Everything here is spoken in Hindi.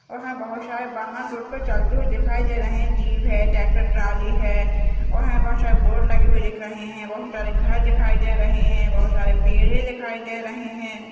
और हमें बहुत सारे वाहन रोड पे चलते हुए दिखाई दे रहे हैं जीप है ट्रेक्टर ट्रॉली है और हमें बहुत सारे बोर्ड लगे हुए दिख रहे हैं बहुत सारे घर दिखाई दे रहे हैं बहुत सारे पेड़ दिखाई दे रहे हैं।